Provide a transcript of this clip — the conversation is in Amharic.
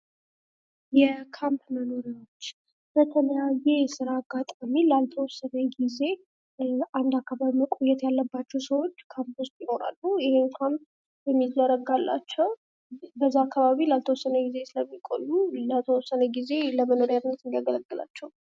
የካምፕ መኖርያዎች በተለያየ የስራ አጋጣሚ ላልተወሰነ ጊዜ እንደ አከባቢ ላይ መቆየት ያለባቸው ሰዎች ካምፕ ውስጥ ይኖራሉ ።ይህም ካምፕ የሚዘረጋላቸው በዛ አካባቢ ላልተወሰነ ጊዜ ስለሚቆዩ ላልተወሰነ ጊዜ ለመኖሪያ አገልግሎት እንዲያገለግላቸው ነው።